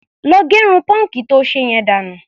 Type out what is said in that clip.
Lọ gẹrun pọ́ǹkì to ṣe yẹn dànù.